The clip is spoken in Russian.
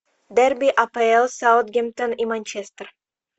дерби апл саутгемптон и манчестер